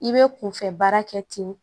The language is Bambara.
I bɛ kunfɛ baara kɛ ten